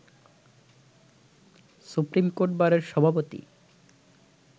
supreme court বারের সভাপতি